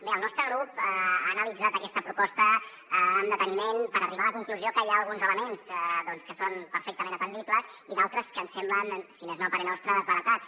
bé el nostre grup ha analitzat aquesta proposta amb deteniment per arribar a la conclusió que hi ha alguns elements doncs que són perfectament atendibles i d’altres que ens semblen si més no a parer nostre desbaratats